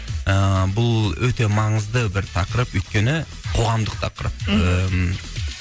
ыыы бұл өте маңызды бір тақырып өйткені қоғамдық тақырып мхм